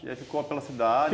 E aí ficou pela cidade?